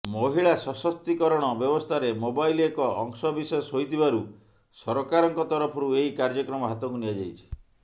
ମହିଳା ସଶକ୍ତିକରଣ ବ୍ୟବସ୍ଥାରେ ମୋବାଇଲ୍ ଏକ ଅଂଶ ବିଶେଷ ହୋଇଥିବାରୁ ସରକାରଙ୍କ ତରଫରୁ ଏହି କାର୍ଯ୍ୟକ୍ରମ ହାତକୁ ନିଆଯାଇଛି